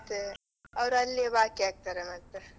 ಅದೇ, ಅವ್ರು ಅಲ್ಲೇ ಬಾಕಿಯಾಗ್ತಾರೆ ಮತ್ತೆ.